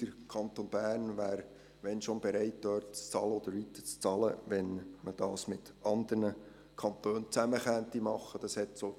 Der Kanton Bern wäre, wenn überhaupt, dort zu bezahlen oder weiter zu bezahlen bereit, wenn das mit anderen Kantonen zusammen gemacht werden könnte.